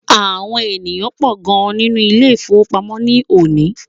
Àwọn ènìyàn pọ gan nínú Ilé-ìfowópamó ni òní